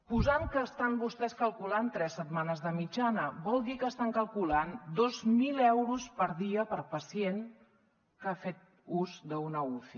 posant que estan vostès calculant tres setmanes de mitjana vol dir que estan calculant dos mil euros per dia per pacient que ha fet ús d’una uci